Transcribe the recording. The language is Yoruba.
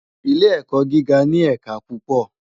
Ilé èkò gigá ni ẹká púpò